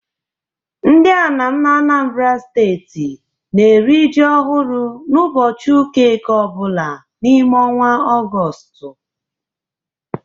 Ndị Anam n'Anambara steeti na-eri ji ọhụrụ n'ụbọchị ụka Eke ọ bụla n'ime ọnwa Ọgọstụ.